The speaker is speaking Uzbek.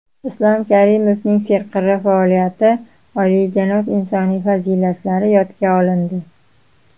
Islom Karimovning serqirra faoliyati, olijanob insoniy fazilatlari yodga olindi.